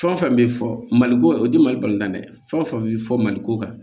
Fɛn o fɛn bɛ fɔ maliko o tɛ mali bali la dɛ fɛn o fɛn bɛ fɔ maliko kan